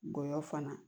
Gɔyɔ fana